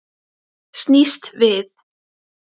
Snýst við.